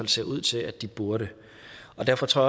ser ud til at de burde derfor tror